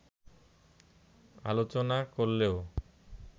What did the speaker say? আলোচনা করলেও